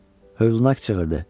Hövlüna qışqırdı.